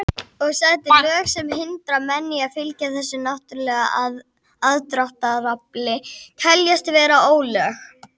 Og sett lög sem hindra menn í að fylgja þessu náttúrulega aðdráttarafli teljast vera ólög.